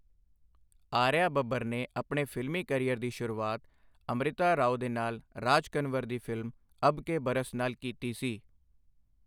ਆਰੀਆ ਬੱਬਰ ਨੇ ਆਪਣੇ ਫਿਲਮੀ ਕੈਰੀਅਰ ਦੀ ਸ਼ੁਰੂਆਤ ਅੰਮ੍ਰਿਤਾ ਰਾਓ ਦੇ ਨਾਲ ਰਾਜ ਕੰਵਰ ਦੀ ਫਿਲਮ 'ਅਬ ਕੇ ਬਰਸ' ਨਾਲ ਕੀਤੀ ਸੀ।